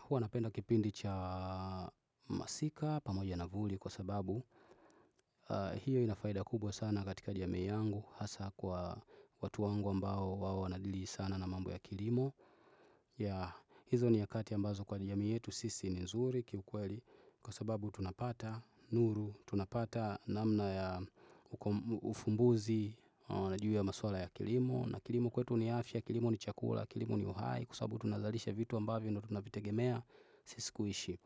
Hua napenda kipindi cha masika pamoja na vuli kwa sababu hiyo ina faida kubwa sana katika jamii yangu hasa kwa watu wangu ambao wao wanadili sana na mambo ya kilimo. Hizo ni nyakati ambazo kwa jamii yetu sisi ni nzuri ki ukweli kwa sababu tunapata nuru, tunapata namna ya ufumbuzi juu ya maswala ya kilimo. Na kilimu kwetu ni afya, kilimu ni chakula, kilimu ni uhai Kwa sababu tunazalisha vitu ambavyo tunavitegemea Sisi kuishi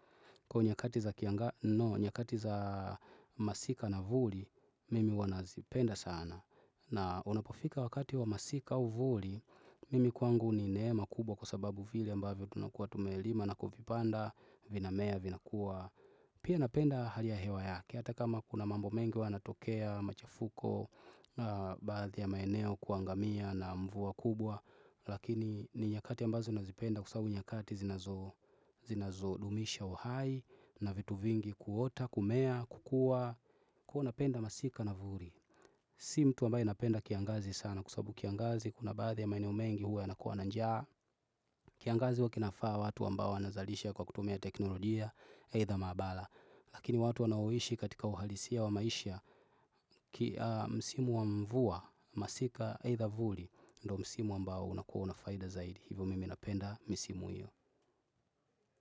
Kwa nyakati za masika na vuli Mimi huwa nazipenda sana na unapofika wakati wa masika au vuli Mimi kwangu ni neema kubwa kwa sababu vile ambavyo tunakuwa tumelima na kuvipanda, vinamea, vinakuwa Pia napenda hali ya hewa yake Hata kama kuna mambo mengi huwa yanatokea, machafuko na baadhi ya maeneo kuangamia na mvua kubwa lakini ni nyakati ambazo nazipenda kwa sababu ni nyakati zinazodumisha uhai na vitu vingi kuota, kumea, kukua napenda masika na vuli si mtu ambaye napenda kiangazi sana kwa sababu kiangazi kuna baadhi ya maeneo mengi huwa yanakua njaa kiangazi huwa kinafaa watu ambao wanazalisha kwa kutumia teknolojia eitha maabara. Lakini watu wanaoishi katika uhalisia wa maisha msimu wa mvua masika eitha vuli Ndio msimu ambao unakua na faida zaidi. Hivyo mimi napenda misimu hiyo.